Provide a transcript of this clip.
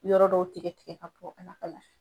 Yɔrɔ dɔw tigɛ tigɛ ka bɔ, a n'a ka lafiya.